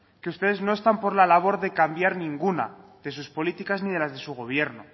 que ustedes no están por la labor de cambiar ninguna de sus políticas ni las de su gobierno